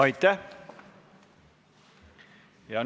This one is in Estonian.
Aitäh!